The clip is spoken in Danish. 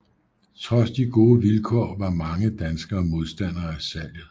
Trods de gode vilkår var mange danskere modstandere af salget